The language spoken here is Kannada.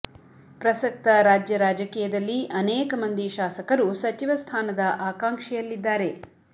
ಪ್ರಸಕ್ತ ರಾಜ್ಯ ರಾಜಕೀಯದಲ್ಲಿ ಅನೇಕ ಮಂದಿ ಶಾಸಕರು ಸಚಿವ ಸ್ಥಾನದ ಆಕಾಂಕ್ಷೆಯಲ್ಲಿದ್ದಾರೆ